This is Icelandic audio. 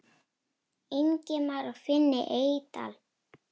Ingimar og Finni Eydal.